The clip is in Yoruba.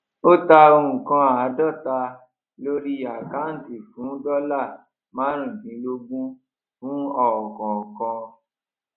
o ta nǹkan àádóta lórí àkáǹtì fún dọlà marun dínlógún fún ọkọọkan